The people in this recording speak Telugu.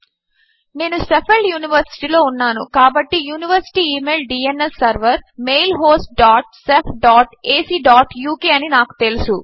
నేను షెఫీల్డ్ యూనివర్సిటీలో ఉన్నాను కాబట్టి university email DNS server mail host dot shef dot AC dot UK అని నాకు తెలుసు